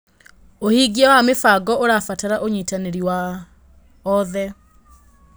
ũhingia wa mĩbango ũrabatara ũnyitanĩri wa oothe.